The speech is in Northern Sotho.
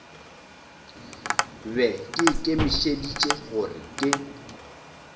be ke ikemišeditše gore ke